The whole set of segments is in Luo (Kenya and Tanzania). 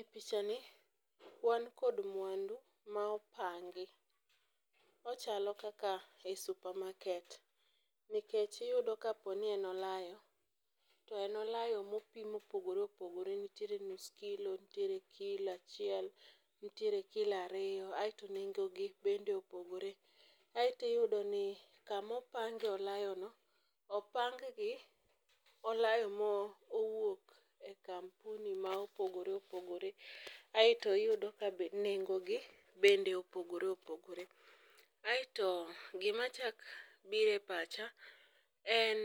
E pichani wan kod mwandu ma opangi, ochalo kaka ei super market nikech iyudo kapo ni en olayo, to en olayo mopim mopogore opogore nitiere nus kilo, nitiere kilo achiel, nitiere kilo ariyo aeto nengogi bende opogore, aeto iyudo ni kamo pange olayono, opanggi olayo mowuok e kampuni ma opogore opogore, aeto iyudo kabe nengogi bende opogore opogore. Aeto gimachako biro e pacha en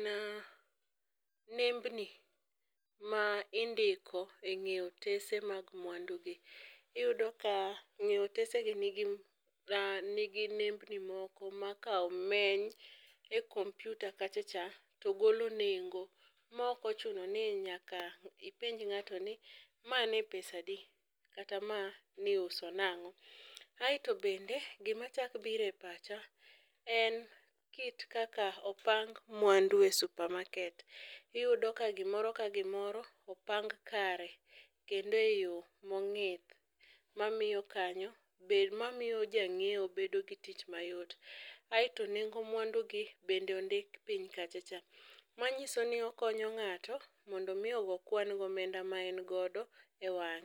nembni ma indiko e ng'e otese mag mwandugi. Iyudo ka ng'e otesegi nigi nembgi moko ma ka omeny e kompyuta kachacha, to golo nengo ma ok ochuno ni nyaka ipenj ng'ato ni ma ne pesadi kata ma niuso nang'o, aeto bende gimachako biro e pacha en kit kaka opang mwandu e super market. Iyudo ka gimoro ka gimoro oapng kare, kendo e yo mong'ith, mamiyo jang'iewo bedo gi tich mayot, aeto nengo mwandugi bende ondik piny kachacha. Manyiso ni okonyo ng'ato mondo omi ogo kwan gi omenda ma en godo e wang'e.